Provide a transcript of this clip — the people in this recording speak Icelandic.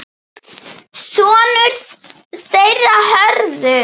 Sonur þeirra Hörður.